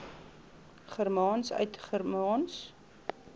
germaans vanuit germaans